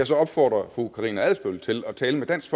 så opfordre fru karina adsbøl til at tale med dansk